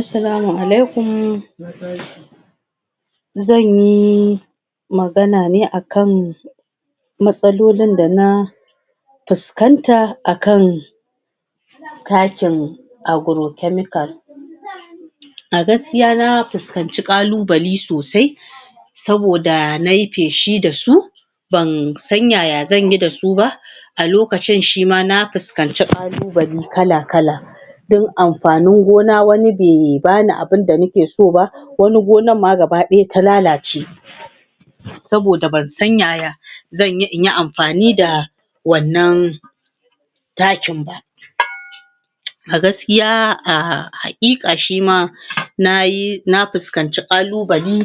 Assalamu alekum zanyi magana ne akan mastalolon da na fiskanta akan katin Aguro kemikal [Agro-chemical] Aguro-kemikal [Agro-chemical a gaskiya na fiskanci kalubale sosai saboda nayi faishi da su bansan yaya zanyi da su ba a lokacin shima na fiskanci kalubale kala-kala don amfanin gona wani bai bani abin da nake so ba wani gonan ma gabadaya ta lalace saboda bansan yaya zanyi inyi amfani da wannan takin ba a gaskiya aa hakika shima nayi nafiiskanci kalubale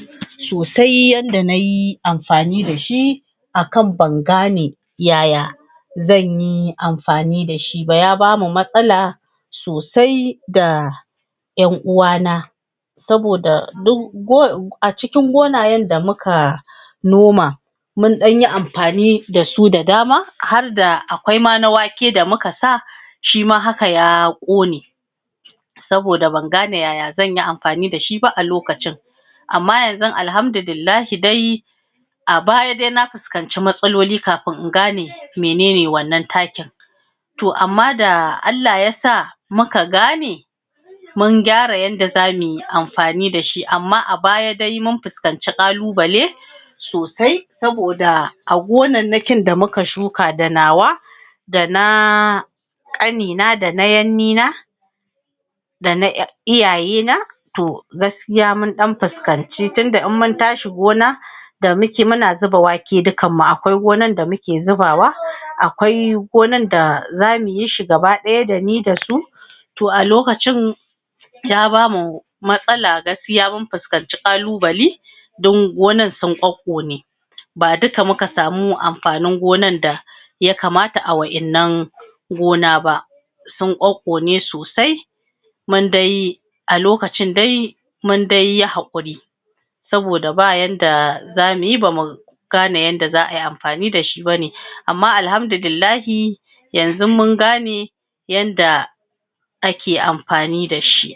to sai yadda nayi amfani da shi akan ban gane yaya zan yi amfani da shi ba ya bamu matsala sosai da 'yan'uwa na saboda duk acikin gonayen da muka noma mun danyi amfani da su da dama harda a kwaima na wake da muka sa shima haka ya kone saboda ban gane yaya zanyi amfani da shi ba a lokacin amma yanzu alhamdu lillahi dai a baya na fiskanci matsaloli kafin in gane mai nene wannan takin to amma da Allah ya sa muka gane mun gane yadda za muyi amfani da shi, amma a baya dai mun fiskan kalu-bale sosai saboda a gonannakin da muka shuka da nawa da naaa kanina da na yannina da na iyaye na to gaskiya mun dan fiskanc tinda in mun tashi gona muna zuba wake dukan mu. akwai gonan da muke zubawa akwai gonan da za muyi shi gaba daya da ni da su to alokacin ya bamu mastala gaskiya mun fiskanci kalu bali dan gonan sun kokkone ba duka muka samu amfanin gonan da ya kamata a wa'innan gona ba sun kokkone sosai kusan dai a lokacin dai mun dai hakuri saboda ba yanda za muyi ba mu gane yadda za ayi amfani da sgi ba ne, amma alhamdu lillahi yanzun mun ga ne yanda ake amfani da shi